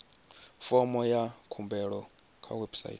fomo ya khumbelo kha website